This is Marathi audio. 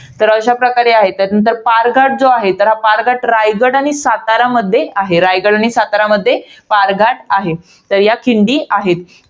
तर अशा प्रकारे आहेत. त्यानंतर जो पारघाट जो आहे, तर हा पारघाट रायगड आणि सातारामध्ये आहे. रायगड आणि सातारामध्ये पारघाट आहे. तर या खिंडी आहेत.